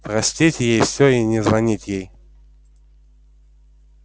простить ей все и не звонить ей